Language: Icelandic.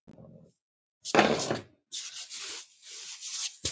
Tengd svör